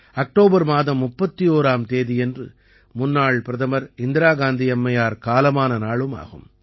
October மாதம் 31ஆம் தேதியன்று முன்னாள் பிரதமர் இந்திரா காந்தி அம்மையார் காலமான நாளும் ஆகும்